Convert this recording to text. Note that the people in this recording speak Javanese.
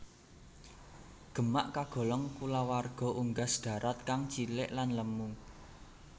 Gemak kagolong kulawarga unggas darat kang cilik lan lemu